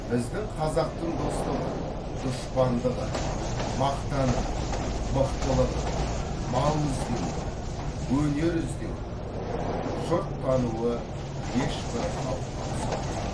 біздің қазақтың достығы дұшпандығы мақтаны мықтылығы мал іздеуі өнер іздеуі жұрт тануы ешбір халыққа ұқсамайды